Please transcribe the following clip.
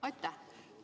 Aitäh!